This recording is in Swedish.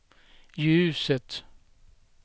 ljuset